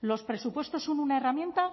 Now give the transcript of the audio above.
los presupuestos son una herramienta